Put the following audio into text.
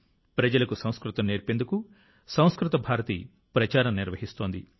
ప్రజలకు సంస్కృతం నేర్పేందుకు సంస్కృత భారతి ప్రచారం నిర్వహిస్తోంది